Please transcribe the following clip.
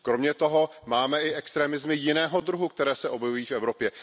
Kromě toho máme i extremismy jiného druhu, které se objevují v Evropě.